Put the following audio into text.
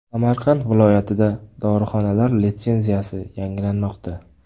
Samarqand viloyatidagi dorixonalar litsenziyasi yangilanmoqda.